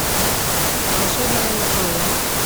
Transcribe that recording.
волшебная история